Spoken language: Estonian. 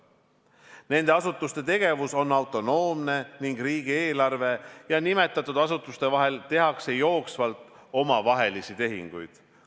Nende asutuste tegevus on autonoomne ning riigieelarve ja nimetatud asutuste vahel tehakse jooksvalt omavahelisi tehinguid.